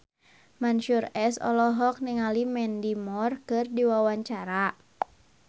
Mansyur S olohok ningali Mandy Moore keur diwawancara